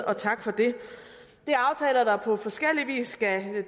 og tak for det det er aftaler der på forskellig vis skal